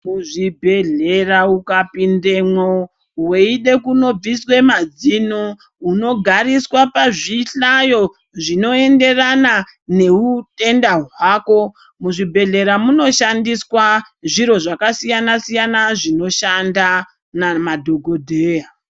Muzvibhedhlera ukapinemwo veide kunobviswe madzino unogariswa pazvihlayo zvinoenderana neutenda hwako. Muzvibhedhlera munoshandiswa zviro zvakasiyana-yana zvinoshanda namadhogodheya.